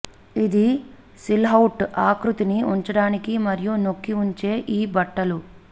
ఇది సిల్హౌట్ ఆకృతిని ఉంచడానికి మరియు నొక్కి ఉంచే ఈ బట్టలు